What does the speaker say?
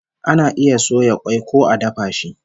Ana iya soya kwai ko a dafa shi